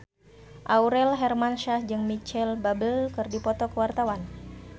Aurel Hermansyah jeung Micheal Bubble keur dipoto ku wartawan